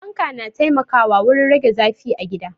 Fanka na taimakawa wurin rage zafin a gida.